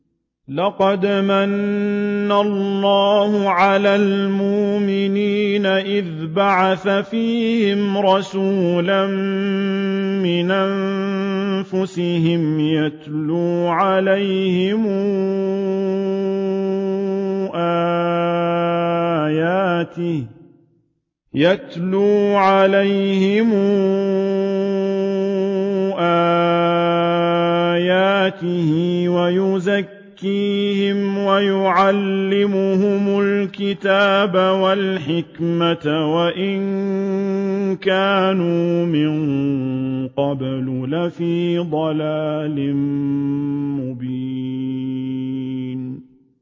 لَقَدْ مَنَّ اللَّهُ عَلَى الْمُؤْمِنِينَ إِذْ بَعَثَ فِيهِمْ رَسُولًا مِّنْ أَنفُسِهِمْ يَتْلُو عَلَيْهِمْ آيَاتِهِ وَيُزَكِّيهِمْ وَيُعَلِّمُهُمُ الْكِتَابَ وَالْحِكْمَةَ وَإِن كَانُوا مِن قَبْلُ لَفِي ضَلَالٍ مُّبِينٍ